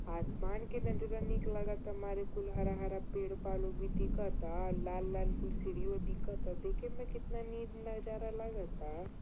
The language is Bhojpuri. आसमान केतना नीक लगता। मारे कुल हरा हरा पेड़ पालो भी दिखता। लाल-लाल कुल सीढ़ियो दिखाता। देखेमे केतना नीक नजारा लागता।